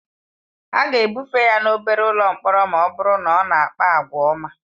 Ha ga-ebufe ya n'obere ụlọ mkpọrọ ma ọ bụrụ na ọ na-akpa àgwà ọma.